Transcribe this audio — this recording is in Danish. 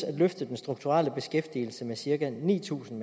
at løfte den strukturelle beskæftigelse med cirka ni tusind